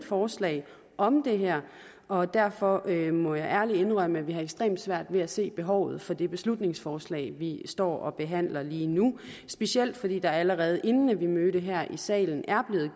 forslag om det her og derfor må jeg ærligt indrømme at vi har ekstremt svært ved at se behovet for det beslutningsforslag vi står og behandler lige nu specielt fordi der allerede inden vi mødte her i salen er